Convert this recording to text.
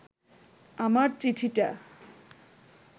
আমার চিঠিটা